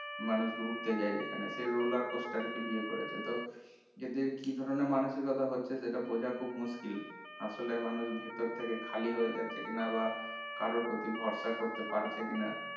মানুষ ঘুরতে যায় যেখানে সেই roller coaster কে বিয়ে করেছে তো এদের কি ধরণের মানসিকতা হচ্ছে সেটা বোঝা খুব মুশকিল আসলে মানুষ ভেতর থেকে খালি হয়ে যাচ্ছে কিনা বা কারোর প্রতি ভরসা করতে পারছে কিনা